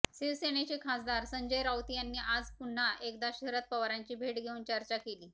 शिवसेनेचे खासदार संजय राऊत यांनी आज पुन्हा एकदा शरद पवारांची भेट घेऊन चर्चा केली